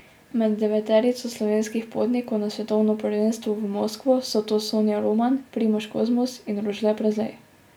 Med deveterico slovenskih potnikov na svetovno prvenstvo v Moskvo so to Sonja Roman, Primož Kozmus in Rožle Prezelj.